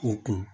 O kun